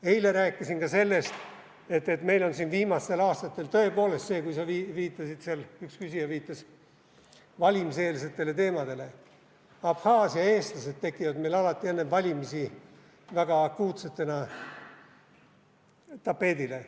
Eile rääkisin ka sellest, et meil on viimastel aastatel tõepoolest see, et – üks küsija viitas valimiseelsetele teemadele – Abhaasia eestlased tekivad meil väga akuutsetena tapeedile alati enne valimisi.